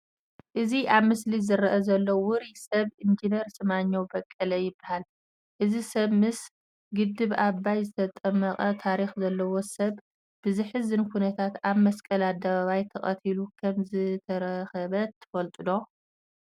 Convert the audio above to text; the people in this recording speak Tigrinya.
እዚ ኣብ ምስሊ ዝርአ ዘሎ ውሩይ ሰብ ኢንጂነር ስመኘው በቀለ ይበሃል፡፡ እዚ ሰብ ምስ ግድብ ኣባይ ዝተጣበቐ ታሪክ ዘለዎ ሰብ ብዘሕዝን ኩነታት ኣብ መስቀል ኣደባባይ ተቐቲሉ ከምዝተረበ ትፈልጡ ዶ?